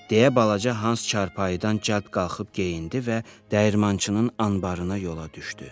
Deyə balaca Hans çarpayıdan calb qalxıb geyindi və dəyirmançının anbarına yola düşdü.